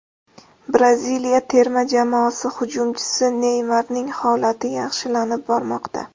Braziliya terma jamoasi hujumchisi Neymarning holati yaxshilanib bormoqda.